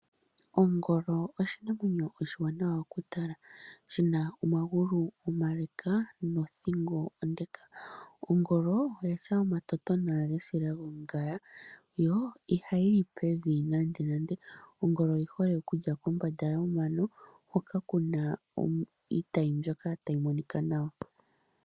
Ongolo oshinamwenyo oshiwanawa okutala, shi na omagulu omale nothingo onde. Ongolo oyi na omatotona gesila lyongaya yo ihayi li pevi nandonando. Ongolo oyi hole okulya pombanda yomano hoka ku na iitayi mbyoka tayi monika nawa.